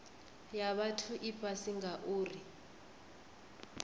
ya vhathu i fhasi ngauri